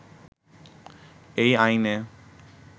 এই আইনে